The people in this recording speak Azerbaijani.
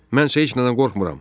Mənsə heç nədən qorxmuram.